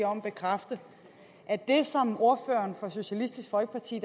om at bekræfte at det som ordføreren fra socialistisk folkeparti